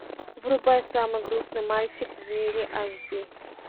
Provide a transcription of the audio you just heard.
врубай самый грустный мальчик в мире аш ди